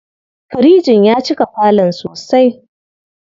Firijin ya cika falon sosai.